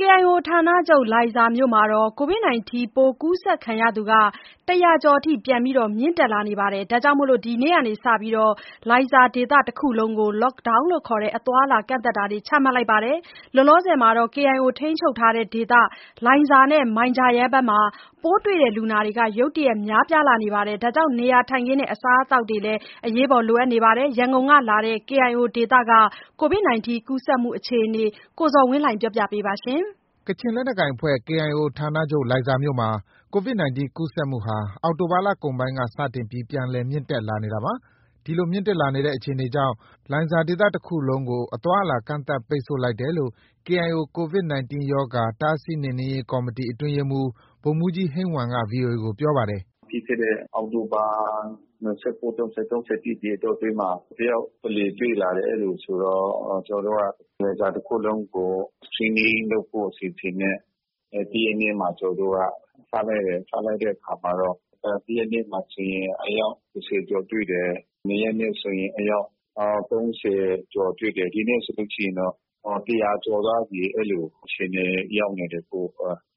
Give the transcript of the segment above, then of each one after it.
KIO ဌာချုပ် လိုင်ဇာမြို့မှာ Covid 19 ပိုးကူးစက်သူ ၁၀၀ ကျော်အထိ ပြန်လည် မြင့်တက်လာနေတာကြောင့် ဒီနေ့က စတင်ပြီး လိုင်ဇာဒေသတခုလုံးကို Lockdown ခေါ် အသွားအလာကန့်သတ်တာတွေ ချမှတ်လိုက်ပါတယ်။ လောလောဆယ် KIO ထိန်းချုပ်ဒေသ လိုင်ဇာ၊ မိုင်ဂျာယန်မှာ ပိုးတွေ့လူနာတွေ ရုတ်တရက်များပြားလာတာကြောင့် နေရာထိုင်ခင်းနဲ့ အစားအစာတွေ လိုအပ်နေပါတယ်။ ရန်ကုန်ကလာတဲ့ KIO ဒေသက Covid 19 ကူးစက်မှုအခြေအနေကို ကိုဇော်ဝင်းလှိုင်က တင်ပြပေးထားပါတယ်။ ကချင်လက်နက်ကိုင်အဖွဲ့ KIO ဌာနချုပ် လိုင်ဇာမြို့မှာ Covid 19 ပိုးကူးစက်မှုဟာ အောက်တိုဘာ လကုန်ပိုင်းက စတင်ပြီး ပြန်လည်မြင့်တက်လာနေတာပါ။ ဒီလိုမြင့်တက်လာတဲ့အခြေအနေကြောင့် လိုင်ဇာဒေသတခုလုံးကို အသွားအလာကန့်သတ်ပိတ်ဆို့လိုက်တယ်လို့ KIO Covid -19 ရောဂါ တားဆီးနှိမ်နင်းရေး ကော်မတီ အတွင်းရေးမှူး ဗိုလ်မှုးကြီး ဟိန်းဝမ်က VOA ကို ပြောပါတယ်။ “ပြီးခဲ့တဲ့အောက်တိုဘာ ၂၉- ၃၀- ၃၁ အတောအတွင်းမှာ တယောက်တလေ တွေ့လာတယ်။ အဲလိုဆိုတော့ လိုင်ဇာတခုလုံးကို Screening လုပ်ဖို့အစီအစဉ်နဲ့ တရက်နေ့မှာ ကျနော်တို့က စလိုက်တယ်။ စလိုက်တဲ့အခါမှာတော့ တရက်နေ့မှာဆိုရင် ဆယ်ယောက်ကျော် တွေ့တယ်။ နှစ်ရက်နေ့ဆိုရင် အယောက် ၃၀ ကျော်တွေ့တယ်။ ဒီနေ့ဆိုရင်တော့ ၁၀၀ ကျော်သွားပြီ။ အဲလို အခြေအနေ ရောက်နေတယ်။ အခု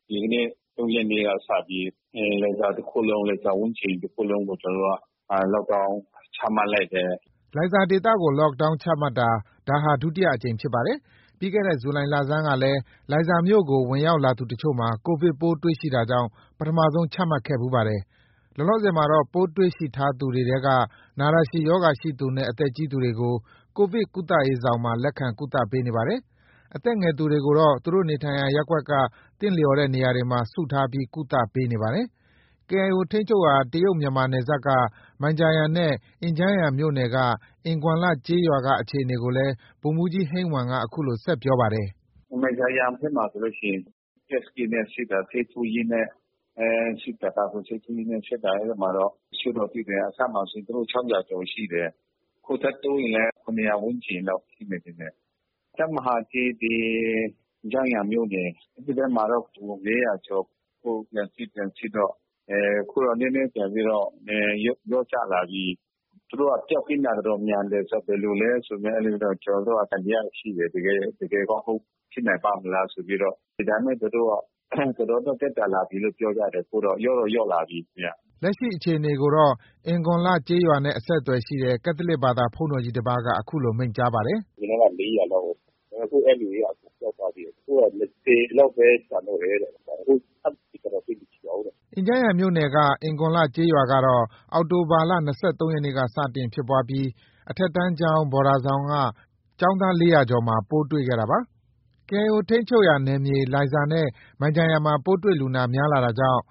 ဒီနေ့ ၃ ရက်နေ့က စတင်ပြီး လိုင်ဇာတခုလုံး၊ လိုင်ဇာဝန်းကျင်တခုလုံးကို Lockdown ချမှတ်လိုက်တယ်။” လိုင်ဇာဒေသကို Lockdown ချမှတ်တာဟာ ဒါဟာ ဒုတိယအကြိမ်ဖြစ်ပါတယ်။ ပြီးခဲ့တဲ့ ဇူလိုင်လဆန်းကလည်း လိုင် ဇာမြို့ကို ဝင်ရောက်လာသူအချို့မှာ Covid ပိုးတွေ့ရှိတာကြောင့် ပထမဆုံးချမှတ်ခဲ့ဖူးပါတယ်။ လောလောဆယ်မှာတော့ ပိုးတွေ့ရှိထားသူတွေထဲက နာတာရှည်ရောဂါရှိသူနဲ့ အသက်ကြီးသူတွေကို Covid ကုသရေးဆောင်မှာ လက်ခံ ကုသနေပါတယ်။အသက်ငယ်သူတွေကိုတော့ သူတို့နေထိုင်ရာ ရပ်ကွက်က သင့်လျော်တဲ့နေရာမှာ စုထားပြီး ကုသပေးနေပါတယ်။ KIO ထိန်းချုပ်ရာ တရုတ် - မြန်မာနယ်စပ်က မိုင်ဂျာယန်နဲ့ အင်ဂျန်းယန်မြို့နယ် အင်ဂွမ်လ ကျေးရွာက အခြေအနေကိုလည်း ဗိုလ်မှူးကြီး ဟိန်းဝမ်က အခုလို ဆက်ပြောပါတယ်။ “မိုင်ဂျာယန်ဘက်မှာဆိုရင် Test kit နဲ့ စစ်တာ၊ ဆေးထိုးရင်းနဲ့ စစ်တာ၊ ကာကွယ်ဆေးထိုးရင်းနဲ့ စစ်တာ အဲဒီမှာ တချို့တော့ တွေ့တယ်။ အစမှာဆိုရင် ၆၀၀ ကျော်ရှိတယ်။ အခုထပ်တိုးရင်လည်း ၇၀၀ ဝန်းကျင်တော့ ရှိမယ်ထင်တယ်။ တပ်မဟာ ၁၊ အင်ဂျန်းယန်မြို့နယ် အဲဒီဘက်မှာတော့ ၄၀၀ ကျော်။ အခု လက်ရှိ ပြန်စစ်တော့ အခုတော့ နည်းနည်းပြန်ပြီးတော့ လျော့ကျလာပြီ။ သူတို့က ပျောက်ကင်းတာ မြန်တယ်ဆိုတော့ ဘယ်လိုလဲဆို ကျနော်တို့က သံသယရှိတယ်။ တကယ်ကော ဖြစ်နိုင်ပါ့မလားဆိုပြီးတော့ ဒါပေမဲ့ သူတို့ တော်တော်လေး သက်သာလာပြီလို့ ပြောကြတယ်။ ခုက လျော့တော့ လျော့လာပြီ။” လက်ရှိအခြေအနေကိုတော့ အင်ဂွန်လ ကျေးရွာနဲ့ အဆက်အသွယ်ရှိတဲ့ ကက်သလစ်ဘာသာ ဘုန်းတော်ကြီး တပါးက အခုလို မိန့်ကြားပါတယ်။ “အရင်တုံးက ၄၀၀ လောက်ကို အခု အဲဒီလူတွေက အကုန်ပျောက်သွားပြီတဲ့။ အခုတော့ ၂၀ လောက်ပဲ ကျန်တော့တယ်တဲ့။ အခု ထပ်စစ်တာတော့ သိပ်မရှိတော့ဘူးတဲ့။” အင်ဂျန်းယန်မြို့နယ်က အင်ဂွန်လ ကျေးရွာကတော့ အောက်တိုဘာလ ၂၃ ရက်နေ့က စတင်ဖြစ်ပွားပြီး အထက်တန်းကျောင်း ဘော်ဒါဆောင်က ကျောင်းသား ၄၀၀ ကျော်မှာ ပိုးတွေ့ခဲ့တာပါ။ KIO ထိန်းချုပ်နယ်မြေက လိုင်ဇာနဲ့ မိုင်ဂျာယန်မှာ ပိုးတွေ့လူနာ များပြားလာတာကြောင့်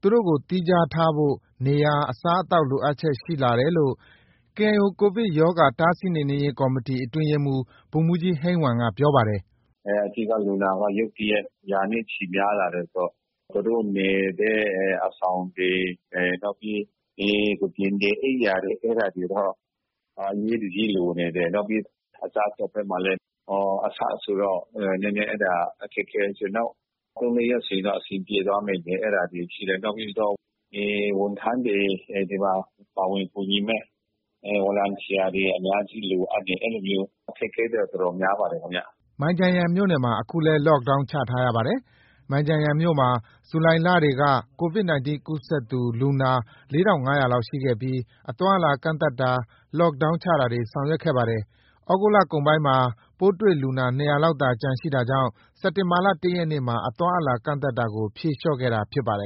သူတို့ကိုသီးခြားထားဖို့ နေရာ အစားအသောက် လိုအပ်ချက်တွေ ရှိလာတယ်လို့ KIO Covid -19 ရောဂါ တားဆီးနှိမ်နင်းရေး ကော်မတီ အတွင်းရေးမှုး ဗိုလ်မှူးကြီး ဟိန်းဝမ်က ပြောပါတယ်။ “အဓိက လူနာက ရုတ်တရက် ရာနဲ့ ချီများလာတယ်ဆိုတော့ သူတို့နေတဲ့ အဆောင်တွေ၊ နောက်ပြီး ကုတင်တွေ၊ အိပ်ယာတွေတော့ အရေးတကြီးလိုနေတယ်။ နောက်ပြီး အစားအသောက်ဘက်မှာလည်း အစဆိုတော့ နည်းနည်း အဲဒါ အခက်အခဲရှိတယ်။ နောက် ၃- ၄ ရက်ဆိုရင်တော့ အဆင်ပြေသွားမယ်။ အဲဒါတွေရှိတယ်။ နောက်ပြီးတော့ ဝန်ထမ်းတွေ၊ ဒီမှာ ပါဝင်ကူညီမယ့် ဗော်လံတီယာတွေ အများကြီး လိုအပ်တယ်။ အဲလိုမျိုးအခက်အခဲတွေတော့ တော်တော်များပါတယ်ခင်ဗျ။” မိုင်ဂျာယန်မြို့မှာ အခုလည်း Lockdown ချထားရပါတယ်။ မိုင်ဂျာယန်မြို့မှာ ဇူလိုင်လတွေက Covid ကူးစက်သူ လူနာ ၄၅၀၀ လောက်ရှိခဲ့ပြီး အသွားအလာ ကန့်သတ်တာ Lockdownချာတာတွေ ဆောင်ရွက်ခဲ့ပါတယ်။ သြဂုတ်လကုန်ပိုင်းမှာ ပိုးတွေ့လူနာ ၂၀၀ လောက်သာ ကျန်ရှိတာကြောင့် စက်တင်ဘာလ ၁ ရက်နေ့မှာ အသွားအလာကန့်သတ်တာကို ဖြေလျော့ခဲ့တာဖြစ်ပါတယ်